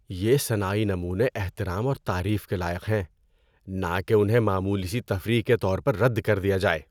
یہ صناعی نمونے احترام اور تعریف کے لائق ہیں، نہ کہ انہیں معمولی سی تفریح کے طور پر رد کر دیا جائے۔